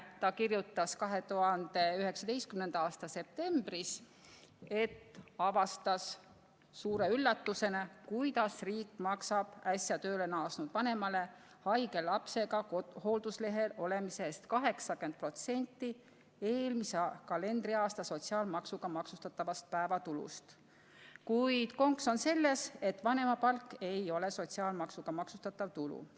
Ta kirjutas 2019. aasta septembris, et avastas suure üllatusena, et riik maksab äsja tööle naasnud vanemale haige lapsega hoolduslehel olemise eest 80% eelmise kalendriaasta sotsiaalmaksuga maksustatud päevatulust, kuid konks on selles, et vanemapalk ei ole sotsiaalmaksuga maksustatav tulu.